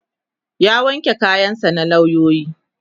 ya wanke kayan sa na lauyoyi